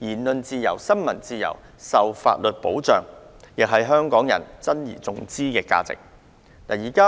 言論自由、新聞自由均受法律保障，亦是港人珍而重之的價值。